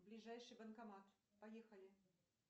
ближайший банкомат поехали